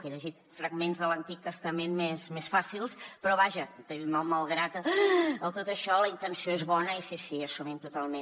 he llegit fragments de l’antic testament més fàcils però vaja malgrat tot això la intenció és bona i sí sí l’assumim totalment